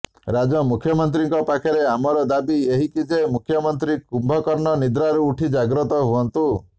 ରାଜ୍ୟ ମୁଖ୍ୟମନ୍ତ୍ରୀଙ୍କ ପାଖରେ ଆମର ଦାବି ଏହିକି ଯେ ମୁଖ୍ୟମନ୍ତ୍ରୀ କୁମ୍ଭକର୍ଣ୍ଣ ନିଦ୍ରାରୁ ଉଠି ଜାଗତ୍ର ହୁଅନ୍ତୁ